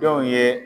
Denw ye